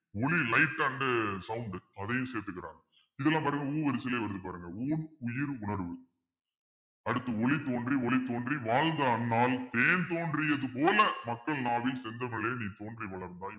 உளி light and sound அதையும் சேர்த்துக்கிறாங்க இதெல்லாம் பாருங்க ஊ வரிசையிலே வருது பாருங்க ஊன் உயிர் உணர்வு அடுத்து ஒளி தோன்றி ஒளி தோன்றி வாழ்ந்த அண்ணால் தேன் தோன்றியது போல மக்கள் நாவில் செந்தமிழே நீ தோன்றி வளர்ந்தாய்